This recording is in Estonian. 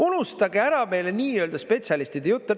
Unustage ära meile nii-öelda spetsialistide jutt.